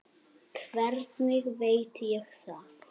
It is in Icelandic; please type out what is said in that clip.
Hvernig veit ég það?